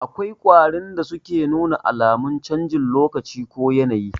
Akwai ƙwarin da suke nuna alamun canjin lokacin ko yanayi